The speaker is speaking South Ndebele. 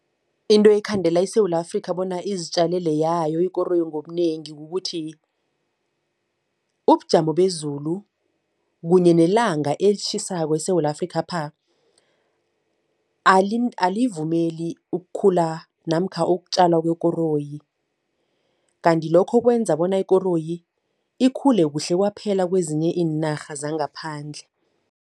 Into ekhandela iSewula Afrika bona izitjalele yayo ikoroyi ngobunengi kukuthi ubujamo bezulu kunye nelanga elitjhisako eSewula Afrikapha alivumeli ukukhula namkha ukutjala kwekoroyi kanti lokho kwenza bona ikoroyi ikhule kuhle kwaphela kwezinye iinarha zangaphandle.